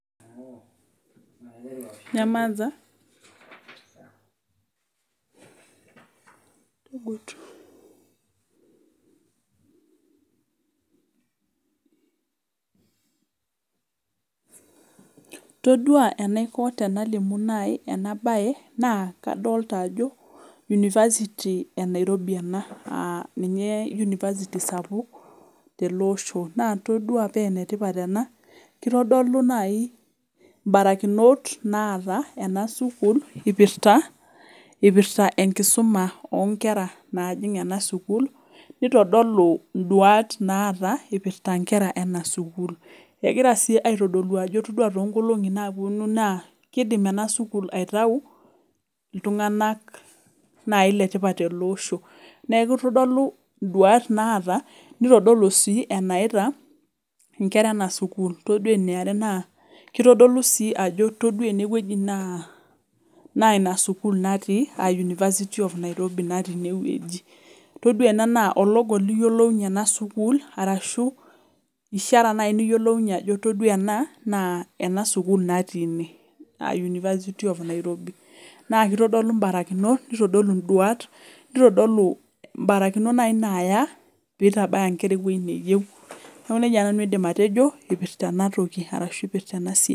todua enaiko naaji tenalimi ena mbae naa kadolita Ajo university ee Nairobi ena aa ninye university sapuk tele Osho todua paa enetipat ena kitodolu naaji mbarakinot naata ena sukuul eipirta enkisma oo Nkera naajig ena sukuul nitofoluu nduat naata eipirta Nkera naipirta Nkera ena sukuul naa kitodolu Ajo etodua too nkolong'i naapuonu naakidim ena sukuul aitau iltung'ana Letipat tele Osho neeku ore nduat naata nitofolu sii eneyaita Nkera ena sukuul oree sii enkae kitodolu Ajo ore ene wueji naa ena sukuul natii aa university of Nairobi etodua tenewueji naa ologo liyiolounye ena sukuul arashu eshara niyiolounye Ajo ore ena naa ena sukuul natii aa university of Nairobi naa kitodolu mbarakinot neitodolu nduat mbarakinot naaji naya pitabaya Nkera ewueji neyieu neeku nejia naaji aidim nanu atejo eipirta ena siai